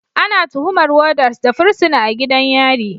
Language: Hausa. Ana tuhumar Warders da fursuna a gidan yari